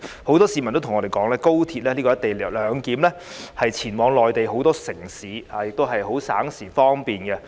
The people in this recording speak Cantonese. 很多市民也告訴我們，透過高鐵"一地兩檢"的安排，他們能前往內地很多城市，覺得十分省時和方便。